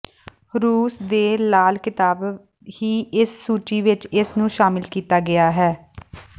ਰੂਸ ਦੇ ਲਾਲ ਕਿਤਾਬ ਹੀ ਇਸ ਸੂਚੀ ਵਿਚ ਇਸ ਨੂੰ ਸ਼ਾਮਲ ਕੀਤਾ ਗਿਆ ਹੈ